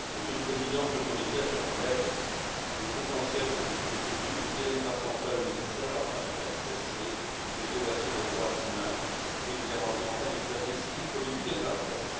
Monsieur le Président, Monsieur le Commissaire, chers collègues, il est essentiel que les autorités djiboutiennes fassent enfin le nécessaire afin de faire cesser les violations des droits humains et de garantir enfin les libertés civiles, politiques et de la presse.